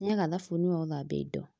Nĩaga thabuni wa gũthambia indo